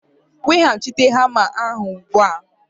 Weghachite hamma ahụ ugbu a!